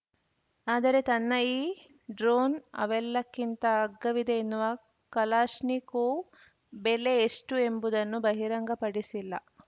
ಆದರೆ ತನ್ನ ಈ ಡ್ರೋನ್‌ ಅವೆಲ್ಲಕ್ಕಿಂತ ಅಗ್ಗವಿದೆ ಎನ್ನುವ ಕಲಾಶ್ನಿಕೋವ್‌ ಬೆಲೆ ಎಷ್ಟುಎಂಬುದನ್ನು ಬಹಿರಂಗಪಡಿಸಿಲ್ಲ